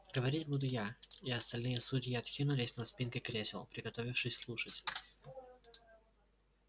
говорить буду я и остальные судьи откинулись на спинки кресел приготовившись слушать